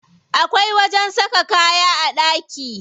Akwai wajen saka kaya a ɗaki.